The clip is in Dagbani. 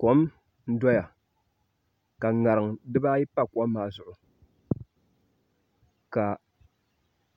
Kom n doya ka ŋarim dibaayi pa kom maa zuɣu ka